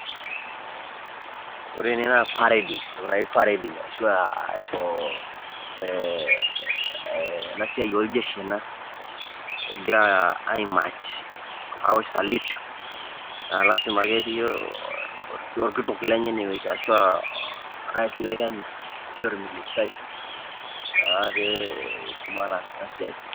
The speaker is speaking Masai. Ore ene naa parading entoki naji parading ashu aa ee ena siai oljeshi ena egira aimatch, awosh salute naa lazima pee etii orkitok lenye ine wueji ashu a orais le kenya ashu a orministai naa pee etumoki ataas ena siai.